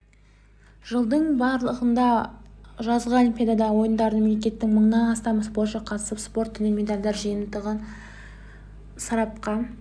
жылдың аралығында жазғы олимпиада ойындарына мемлекеттен мыңнан астам спортшы қатысып спорт түрінен медальдар жиынтығы сарапқа